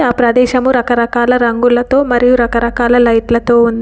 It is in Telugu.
ఆ ప్రదేశము రకరకాల రంగులతో మరియు రకరకాల లైట్లతో ఉంది.